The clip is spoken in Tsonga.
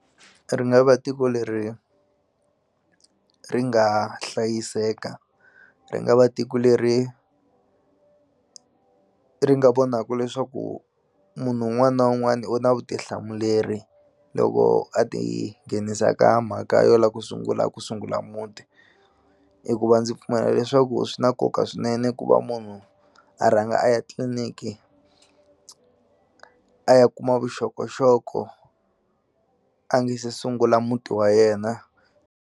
Ri nga va tiko leri ri nga hlayiseka ri nga va tiko leri ri nga vonaka leswaku munhu un'wani na un'wani u na vutihlamuleri loko a ti nghenisa ka mhaka yo la ku sungula ku sungula muti hikuva ndzi pfumela leswaku swi na nkoka swinene ku va munhu a rhanga a ya tliliniki a ya kuma vuxokoxoko a nge se sungula muti wa yena.